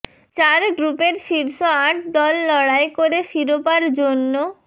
চার গ্রুপের শীর্ষ আট দল লড়াই করে শিরোপার জন্য